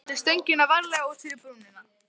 Látið stöngina varlega út fyrir brúnina.